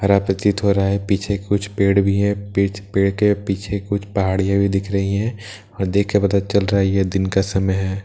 हरा प्रतीत हो रहा है पीछे कुछ पेड़ भी है पिछ पेड़ के पीछे कुछ पहाड़ियां भी है दिख रही है और देख कर पता चल रहा है यह दिन का समय है।